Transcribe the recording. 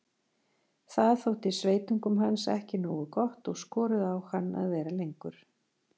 Það þótti sveitungum hans ekki nógu gott og skoruðu á hann að vera lengur.